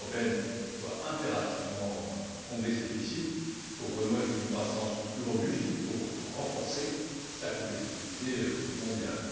L'Union européenne doit impérativement combler ce déficit pour renouer avec une croissance plus robuste et pour renforcer sa compétitivité mondiale.